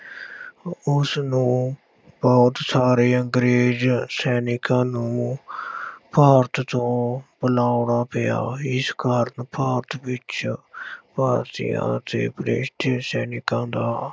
ਉਸਨੂੰ ਬਹੁਤ ਸਾਰੇ ਅੰਗਰੇਜ਼ ਸੈਨਿਕਾਂ ਨੂੰ ਭਾਰਤ ਤੋਂ ਬੁਲਾਉਣਾ ਪਿਆ, ਇਸ ਕਾਰਨ ਭਾਰਤ ਵਿੱਚ ਭਾਰਤੀਆਂ ਤੇ ਬ੍ਰਿਟਿਸ਼ ਸੈਨਿਕਾਂ ਦਾ